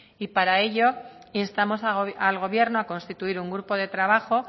y para ello instamos al gobierno a constituir un grupo de trabajo